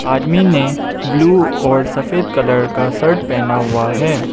आदमी ने ब्लू और सफेद कलर का शर्ट पहना हुआ है।